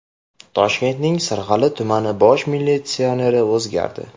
Toshkentning Sirg‘ali tumani bosh militsioneri o‘zgardi.